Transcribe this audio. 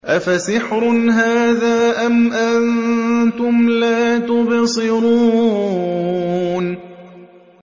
أَفَسِحْرٌ هَٰذَا أَمْ أَنتُمْ لَا تُبْصِرُونَ